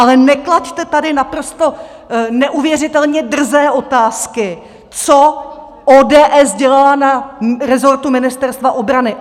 Ale neklaďte tady naprosto neuvěřitelně drzé otázky, co ODS dělala na resortu Ministerstva obrany.